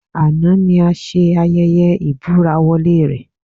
Àná ni a ṣe ayẹyẹ ìbúra-wọlé rẹ̀